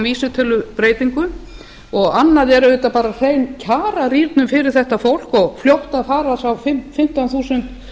vísitölubreytingum og annað er auðvitað bara hrein kjararýrnun fyrir þetta fólk og fljót að fara þá fimmtán þúsund